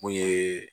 Mun ye